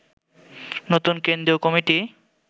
নতুন কেন্দ্রীয় কমিটি